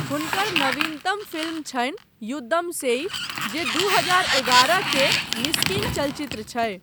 हुनकर नवीनतम फिल्म छनि युद्धम सेई, जे दू हजार एगारह के मिस्किन चलचित्र छै।